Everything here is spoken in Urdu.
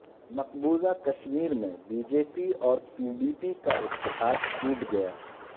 مقبوضہ کشمیر میں بی جے پی اور پی ڈی پی کا اتحاد ٹوٹ گیا